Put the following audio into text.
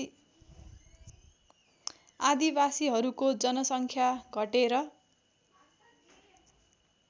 आदिवासीहरूको जनसङ्ख्या घटेर